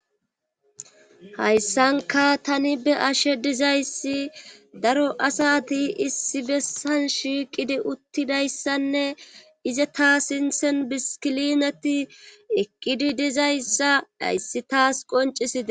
hayssanka tani be ashe dizayssi daro asati issi bessan shiiqidi uttidayssanne ize taa sinthen bisilineti eqqidi dizayssa ayssi taas qonciside